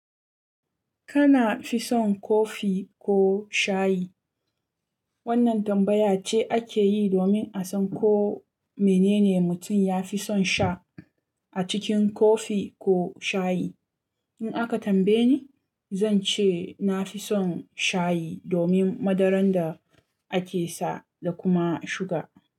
Kana fi son kofi ko shayi? Wannan tambaya ce ake yi domin a san ko menene mutum ya fi son sha a cikin kofi ko shayi. In aka tambaye ni, zan ce na fi son shayi domin madarar da ake sa da kuma suga.